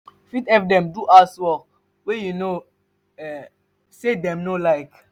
you fit help them do house wrok wey you know sey dem no like